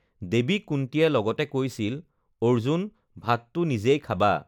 "দেৱী কুন্তীয়ে লগতে কৈছিল, ""অৰ্জুন, ভাতটো নিজেই খাবা!"""